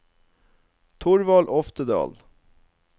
Thorvald Oftedal